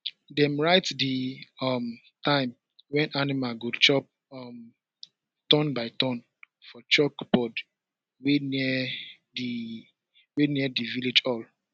dem write the um time wen animal go chop um turn by turn for chalkboard wey near di wey near di village hall